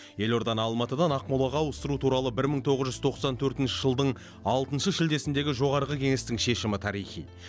елорданы алматыдан ақмолаға ауыстыру туралы бір мың тоғыз жүз тоқсан төртінші жылдың алтыншы шілдесіндегі жоғарғы кеңестің шешімі тарихи